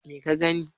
me ka gani